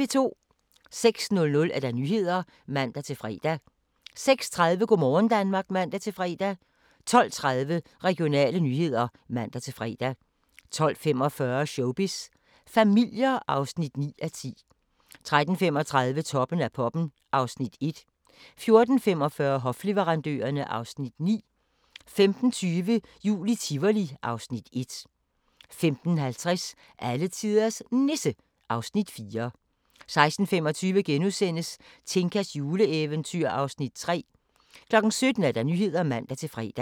06:00: Nyhederne (man-fre) 06:30: Go' morgen Danmark (man-fre) 12:30: Regionale nyheder (man-fre) 12:45: Showbiz familier (9:10) 13:35: Toppen af poppen (Afs. 1) 14:45: Hofleverandørerne (Afs. 9) 15:20: Jul i Tivoli (Afs. 1) 15:50: Alletiders Nisse (Afs. 4) 16:25: Tinkas juleeventyr (Afs. 3)* 17:00: Nyhederne (man-fre)